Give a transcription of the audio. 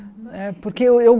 Eh porque eu eu